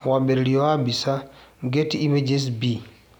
Mwambĩrĩrio wa mbica, Getty images Bi